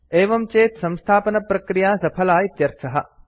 एवं चेत् संस्थापनप्रक्रिया सफला इत्यर्थः